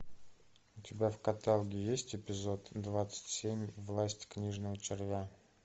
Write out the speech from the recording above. у тебя в каталоге есть эпизод двадцать семь власть книжного червя